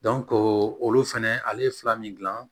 olu fɛnɛ ale ye fila min dilan